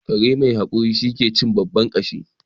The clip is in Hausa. Kare mai hakuri shine ke cin babban kashi